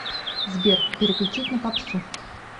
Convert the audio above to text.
сбер переключить на попсу